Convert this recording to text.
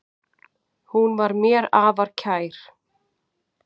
Hún var mér afar kær.